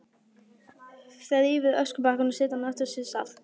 Þrífur öskubakkann og setur hann aftur á sinn stað.